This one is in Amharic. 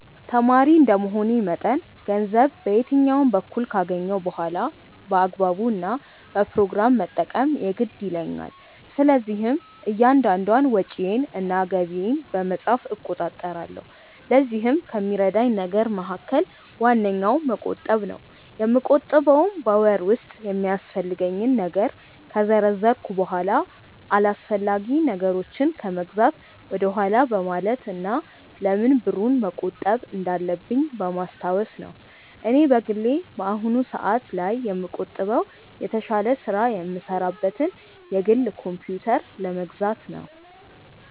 ተማሪ እንደመሆኔ መጠን ገንዘብ በየትኛውም በኩል ካገኘሁ በኋላ በአግባቡ እና በፕሮግራም መጠቀም የግድ ይለኛል። ስለዚህም እያንዳንዷን ወጪዬን እና ገቢዬን በመጻፍ እቆጣጠራለሁ። ለዚህም ከሚረዳኝ ነገር መካከል ዋነኛው መቆጠብ ነው። የምቆጥበውም በወር ውስጥ የሚያስፈልገኝን ነገር ከዘረዘርኩ በኋላ አላስፈላጊ ነገሮችን ከመግዛት ወደኋላ በማለት እና ለምን ብሩን መቆጠብ እንዳለብኝ በማስታወስ ነው። እኔ በግሌ በአሁኑ ሰአት ላይ የምቆጥበው የተሻለ ስራ የምሰራበትን የግል ኮምፕዩተር ለመግዛት ነው።